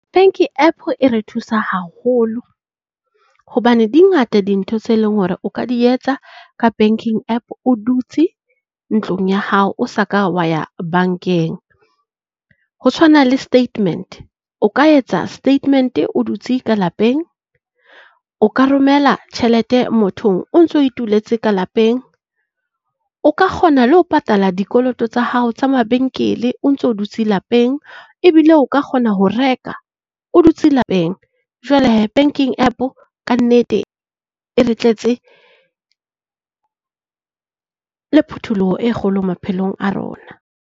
Banking App e re thusa haholo hobane di ngata dintho tse leng hore o ka di etsa ka banking App o dutse ntlong ya hao, o sa ka wa ya bankeng. Ho tshwana le statement. O ka etsa statement o dutse ka lapeng, o ka romela tjhelete motho o ntso ituletse ka lapeng, o ka kgona le ho patala dikoloto tsa hao tsa mabenkele o ntso dutse lapeng, ebile o ka kgona ho reka o dutse lapeng. Jwale hee banking App ka nnete, e re tletse le phuthuloho e kgolo maphelong a rona.